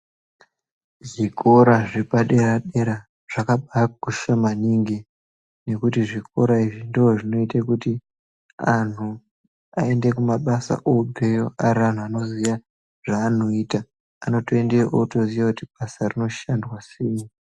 Zvikora zvapadera dera zvakabakosha maningi nekuti zvikora izvi ndozvinoite kuti anhu aende kumabasa obveyo ari antu anoziye zvavonoita anotoendeyo otoziya kuti basa iri rinoshandwa sei.